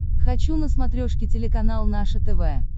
хочу на смотрешке телеканал наше тв